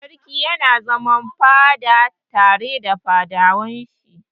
Sarki yana zama a fada tare da fadawan shi.